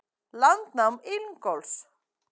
Landnám Ingólfs.